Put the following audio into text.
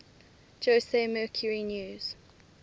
jose mercury news